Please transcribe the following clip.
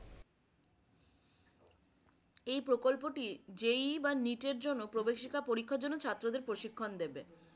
এই প্রকল্পটি যেই বা নিজের জন্য প্রবেশিকা পরীক্ষার জন্য ছাত্রদের প্রশিক্ষণ দেবে।